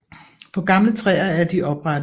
På gamle træer er de oprette